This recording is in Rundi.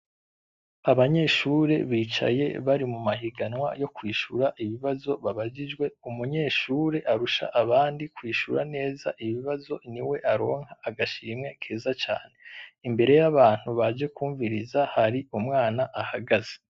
Abanyeshure bicaye bari mu mahiganwa yo kwishura ibibazo babajijwe, umunyeshure arusha abandi kwishura neza ibibazo niwe aronka agashimwe keza cane, imbere y'abantu baje kwunviriza hari umwana ahagaze.